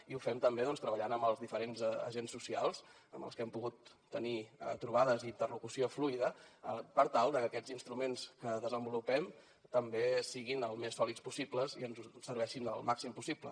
i ho fem també treballant amb els diferents agents socials amb els que hem pogut tenir trobades i interlocució fluida per tal que aquests instruments que desenvolupem també siguin el més sòlids possible i ens serveixin el màxim possible